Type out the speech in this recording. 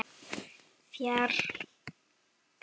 Þrjár vikur.